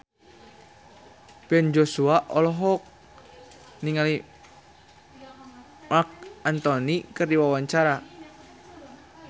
Ben Joshua olohok ningali Marc Anthony keur diwawancara